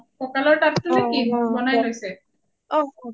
অ কঁকালৰ তাত টো নে কি বনাই লৈছে ?